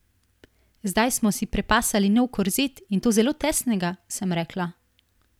Zdaj smo si prepasali nov korzet, in to zelo tesnega, sem rekla.